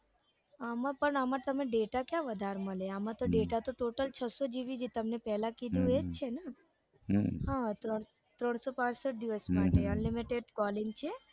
આમાં પણ આમાં પણ data તમે ક્યાં વધાર મળે આમાં તો data તો total છસો gb જ જે તમને પેલા કીધું ને એજ છે ને હતો ત્રણસો પાંસઠ દિવસ માટે unlimited છે